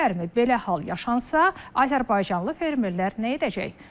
Belə hal yaşansa, azərbaycanlı fermerlər nə edəcək?